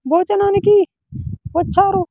భోజనానికి వచ్చారు.